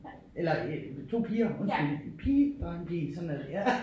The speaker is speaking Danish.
Eller øh 2 piger undskyld pige dreng pige sådan er det ja